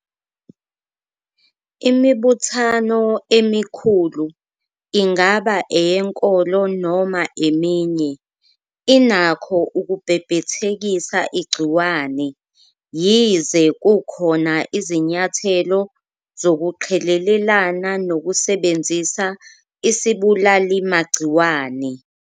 Imibuthano emikhulu, ingaba eyenkolo noma eminye, inakho ukubhebhethekisa igciwane, yize kukhona izinyathelo zokuqhelelana nokusebenzisa isibulalimagciwane.